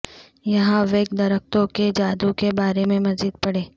یہاں ویک درختوں کے جادو کے بارے میں مزید پڑھیں